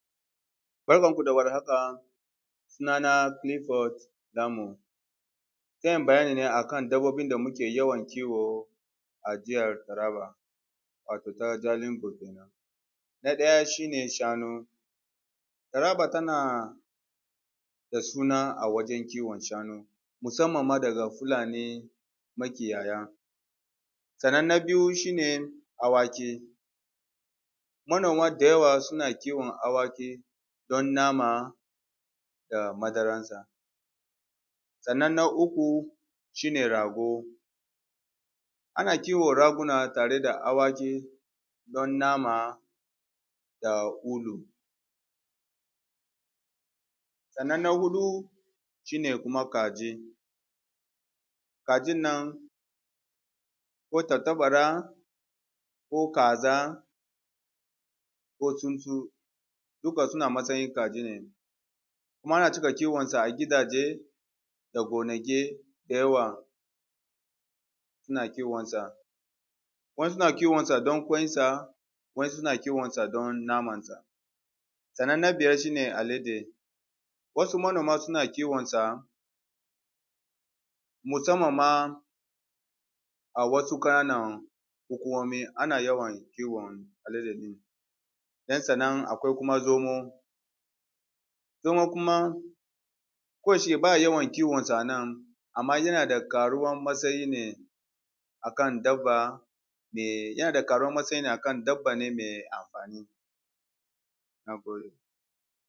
Barkan ku da warhaka suna na Clifford Lamun. Zan yi bayani ne akan dabbobin da muke yawan kiwo a nan jihar Taraba wato ta Jalingo kenan. Na ɗaya shi ne Shanu; Taraba tana da suna a wajen kiwon shanu, musamman ma daga Fulani makiyaya. Sannan na biyu shi ne awaki; manoma da yawa suna kiwon awaki don nama da madaran sa. Sannan na uku shi ne rago; ana kiwon raguna tare da awaki don nama da ulu. Sannan na huɗu shine kuma kaji; kajin nan ko tantabara ko kaza ko tsuntsu duka suna matsayin kaji ne. Kuma ana cika kiwon su a gidaje da gonaki da yawa ana kiwon sa. Wasu na kiwon sa don ƙwain sa, wasu suna kiwon sa don naman sa. Sannan na biyar shi ne Alade; wasu manoma suna kiwon sa musamman ma a wasu ƙananan hukumomi ana yawan kiwon alade ɗin. Don sannan akwai kuma zomo; zomo kuma, ko da shike ba a yawan kiwon sa a nan amma yana da ƙaruwan matsayi ne akan dabba me, yana da ƙaruwar matsayi akan dabba ne mai amfani. Nagode.